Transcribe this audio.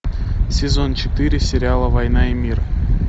сезон четыре сериала война и мир